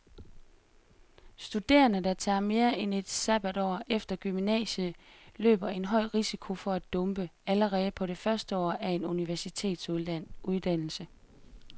Studerende, der tager mere end et sabbatår efter gymnasiet, løber en høj risiko for at dumpe allerede på det første år af en universitetsuddannelse.